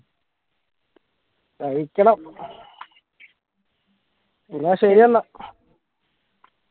കഴിക്കണം എന്ന ശരിയെന്നാ